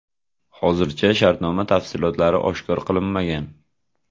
Hozircha shartnoma tafsilotlari oshkor qilinmagan.